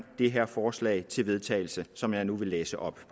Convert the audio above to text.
det her forslag til vedtagelse som jeg nu vil læse op